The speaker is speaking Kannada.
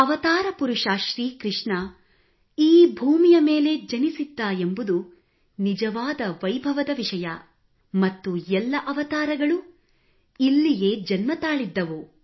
ಅವತಾರ ಪುರುಷ ಶ್ರೀಕೃಷ್ಣ ಈ ಭೂಮಿಯ ಮೇಲೆ ಜನಿಸಿದ್ದ ಎಂಬುದು ನಿಜವಾದ ವೈಭವದ ವಿಷಯ ಮತ್ತು ಎಲ್ಲ ಅವತಾರಗಳು ಇಲ್ಲಿಯೇ ಜನ್ಮತಾಳಿದ್ದವು